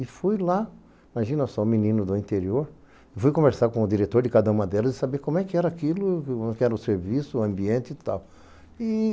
E fui lá, imagina só, um menino do interior, fui conversar com o diretor de cada uma delas e saber como é que era aquilo, como é que era o serviço, o ambiente e tal.